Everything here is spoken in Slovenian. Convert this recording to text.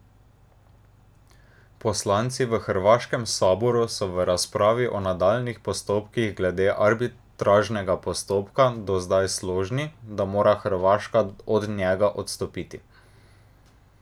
Poslanci v hrvaškem saboru so v razpravi o nadaljnjih postopkih glede arbitražnega postopka do zdaj složni, da mora Hrvaška od njega odstopiti.